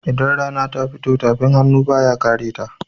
Idan rana ta fito, tafin hannu ba ya kareta.